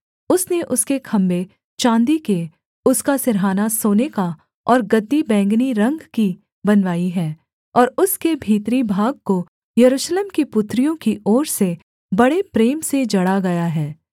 उसने उसके खम्भे चाँदी के उसका सिरहाना सोने का और गद्दी बैंगनी रंग की बनवाई है और उसके भीतरी भाग को यरूशलेम की पुत्रियों की ओर से बड़े प्रेम से जड़ा गया है